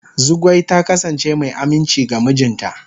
Zugwai ta kasance mai aminci ga mijinta.